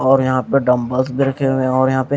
और यहां पे डम्बल्स देखे हुए हैं और यहां पे --